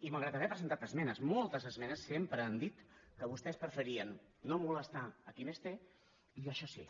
i malgrat haver presentat esmenes moltes esmenes sempre han dit que vostès preferien no molestar a qui més té i això sí